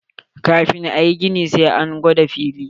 Kafin a yi gini, sai an gwada filin.